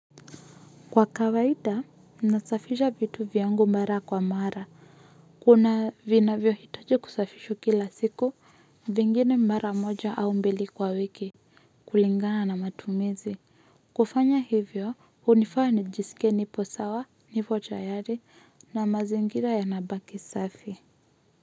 Kwa kawaida nasafisha vitu vyangu mara kwa mara kuna vinavyo hitaji kusafishwa kila siku vingine mara moja au mbili kwa wiki kulingana na matumizi kufanya hivyo unifanya nijisike nipo sawa nipo tayari na mazingira ya nabaki safi.